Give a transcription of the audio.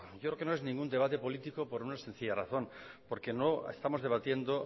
yo creo que no es ningún debate político por una sencilla razón porque no estamos debatiendo